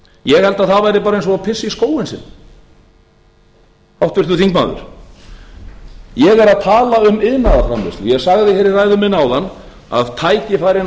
ég held að það væri bara eins og að pissa í skóinn sinn háttvirtur þingmaður ég er að tala um iðnaðarframleiðslu ég sagði hér í ræðu minni áðan að tækifærin